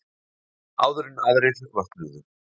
Áður en aðrir vöknuðu.